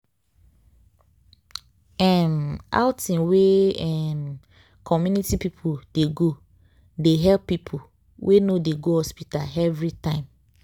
wait- um outing wey um community people dey go they help people wey no dey go hospital everytime.